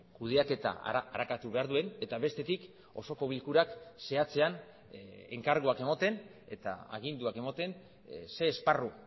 kudeaketa arakatu behar duen eta bestetik osoko bilkurak zehatzean enkarguak ematen eta aginduak ematen zein esparru